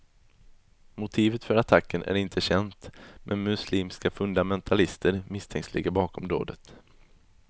Motivet för attacken är inte känt, men muslimska fundamentalister misstänks ligga bakom dådet.